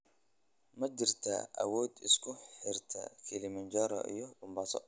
Ma jirtaa waddo isku xirta Kilimanjaro iyo Mombasa?